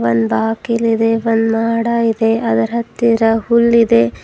ಒಂದ್ ಬಾಗಿಲಿದೆ ಒಂದ್ ಮಾಡ ಇದೆ ಅದರ್ ಹತ್ತಿರ ಹುಲ್ ಇದೆ.